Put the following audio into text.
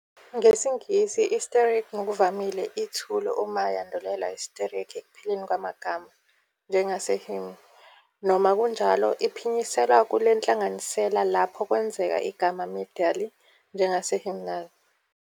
NgesiNgisi, i- ngokuvamile ithule uma yandulelwa i- ekupheleni kwamagama, njengase-hymn, noma kunjalo, iphinyiselwa kule nhlanganisela lapho kwenzeka igama medially, njengase-hymnal.